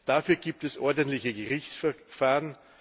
Dafür gibt es ordentliche Gerichtsverfahren.